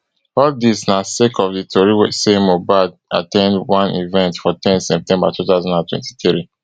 all dis na sake of di tori say mohbad at ten d one event for ten september two thousand and twenty-three